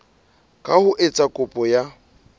ka ho etsa kopo ya